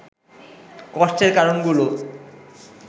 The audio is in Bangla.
কষ্টের কারণগুলো